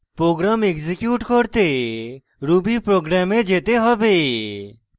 program execute করতে ruby program we যেতে হবে